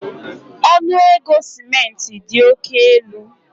Ọnụ ego simenti dị oke elu